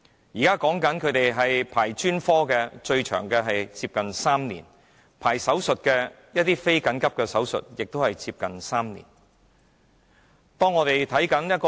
現時，專科服務的輪候時間最長為3年，而非緊急手術亦要輪候接近3年。